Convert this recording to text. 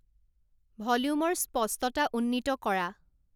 ভলিউমৰ স্পষ্টতা উন্নীত কৰা